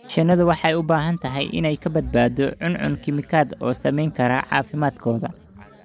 Shinnidu waxay u baahan tahay inay ka badbaado cuncun kiimikaad oo saamayn kara caafimaadkooda.